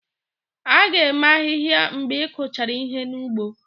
A ga-eme ahịhịa mgbe ị kụchara ihe n'ugbo